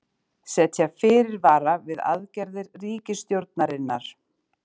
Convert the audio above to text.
Setja fyrirvara við aðgerðir ríkisstjórnarinnar